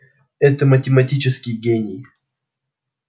это математический гений